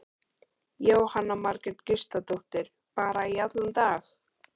Jóhanna Margrét Gísladóttir: Bara í allan dag?